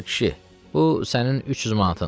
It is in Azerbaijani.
Al, kişi, bu sənin 300 manatın.